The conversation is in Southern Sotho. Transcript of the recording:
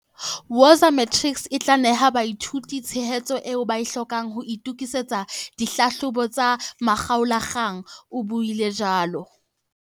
"Woza Matrics e tla neha baithuti tshehetso eo ba e hlokang ho itokisetsa dihlahlobo tsa makgaola-kgang," o buile jwalo.